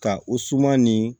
Ka o suman ni